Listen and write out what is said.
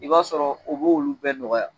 I b'a sɔrɔ o b'olu bɛɛ nɔgɔya